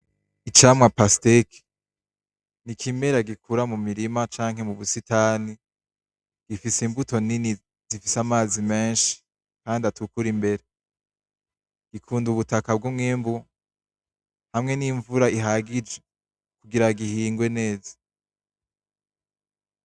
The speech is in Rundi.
Icamwa Pasiteke ni ikimera gikura mu mirima canke mu busitani, gifise imbuto zifise amazi menshi kandi atukura imbere. Gikunda ubutaka bw'umwimbu hamwe n'imvura ihagije kugira gihingwe neza.